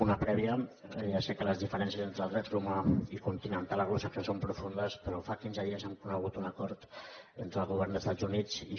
una prèvia ja sé que les diferències entre el dret romà i continental anglosaxó són profundes però fa quinze dies hem conegut un acord entre el govern dels estats units i j